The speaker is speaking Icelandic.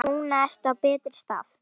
Núna ertu á betri stað.